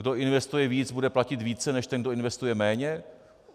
Kdo investuje víc, bude platit více než ten, kdo investuje méně?